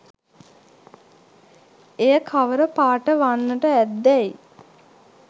එය කවර පාට වන්නට ඇත්දැයි